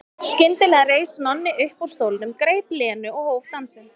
Skyndilega reis Nonni upp úr stólnum, greip Lenu og hóf dansinn.